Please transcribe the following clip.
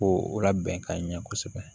Ko o labɛn ka ɲɛ kosɛbɛ